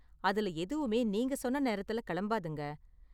அதுல எதுவுமே நீங்க சொன்ன நேரத்துல கிளம்பாதுங்க.